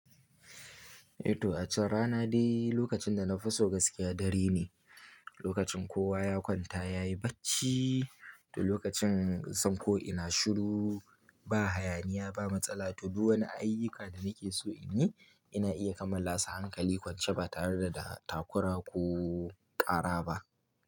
Eh to wace rana dai lokacin da na fi so gaskiya dare ne, lokacin kowa ya kwanta yayi bacci to lokacin zan ko ina shiru ba hayaniya ba matsala to duk wani ayyuka da nake so in yi ina iya kamala su hankali kwance ba tare da takura ko ƙara ba.